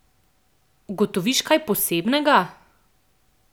Ugotoviš kaj posebnega?